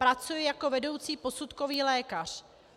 Pracuji jako vedoucí posudkový lékař.